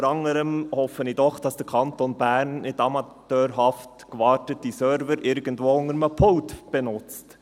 Unter anderem hoffe ich doch, dass der Kanton Bern nicht amateurhaft gewartete Server irgendwo unter einem Pult benutzt.